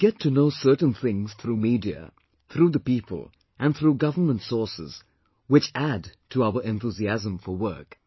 We get to know certain things through media, through the people and through government sources which add to our enthusiasm for work